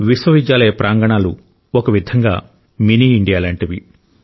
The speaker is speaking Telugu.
విశ్వవిద్యాలయ ప్రాంగణాలు ఒక విధంగా మినీ ఇండియా లాంటివి